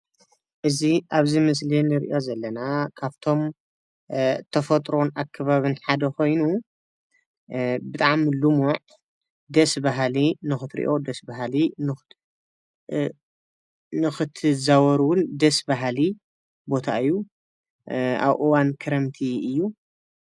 እዚ ኣብዚ ምስሊ ንሪኦ ዘለና ካብቶም ተፈጥሮን ኣከባብን ሓደ ኮይኑ ብጣዕሚ ልሙዕ ደስ በሃሊ ንክትሪኦ ደስ በሃሊ ንክትዛወር እዉን ደስ በሃሊ ቦታ እዩ ፡፡ ኣብ እዋን ከረምቲ እዩ፡፡